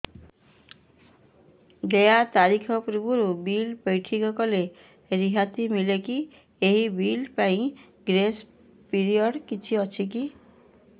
ଦେୟ ତାରିଖ ପୂର୍ବରୁ ବିଲ୍ ପୈଠ କଲେ ରିହାତି ମିଲେକି ଏହି ବିଲ୍ ପାଇଁ ଗ୍ରେସ୍ ପିରିୟଡ଼ କିଛି ଅଛିକି